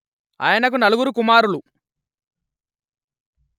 ఆయనకు నలుగురు కుమారులు